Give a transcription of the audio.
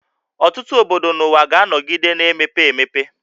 Ọtụtụ obodo n'ụwa ga-anọgide na-emepe emepe